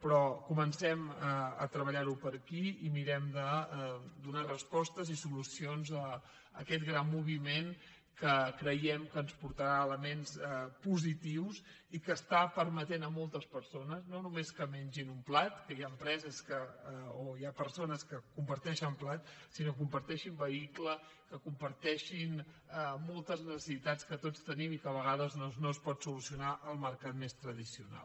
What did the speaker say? però comencem a treba·llar·ho per aquí i mirem de donar respostes i solucions a aquest gran moviment que creiem que ens portarà elements positius i que està permetent a moltes perso·nes no només que mengin un plat que hi ha empreses o hi ha persones que comparteixen plat sinó que com·parteixin vehicle que comparteixin moltes necessitats que tots tenim i que a vegades no ens pot solucionar el mercat més tradicional